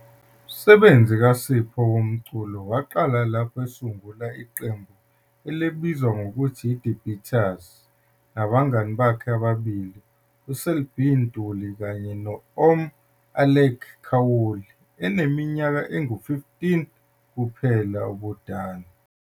Umsebenzi kaSipho womculo waqala lapho esungula iqembu elibizwa ngokuthi iThe Beaters nabangane bakhe ababili uSelby Ntuli kanye no-"Om" Alec Khaoli, eneminyaka engu-15 kuphela ubudala.